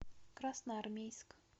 красноармейск